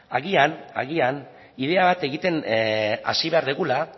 agian ideia bat egiten hasi behar dugula